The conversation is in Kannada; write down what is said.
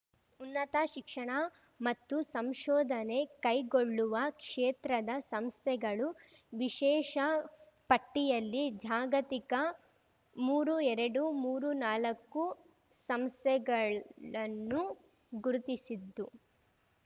ಉನ್ನತ ಶಿಕ್ಷಣ ಮತ್ತು ಸಂಶೋಧನೆ ಕೈಗೊಳ್ಳುವ ಕ್ಷೇತ್ರದ ಸಂಸ್ಥೆಗಳು ವಿಶೇಷ ಪಟ್ಟಿಯಲ್ಲಿ ಜಾಗತಿಕ ಮೂರುಎರಡುಮೂರುನಾಲಕ್ಕು ಸಂಸ್ಥೆಗಳನ್ನು ಗುರಿತಿಸಿದ್ದು